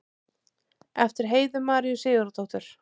eftir heiðu maríu sigurðardóttur